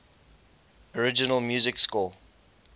original music score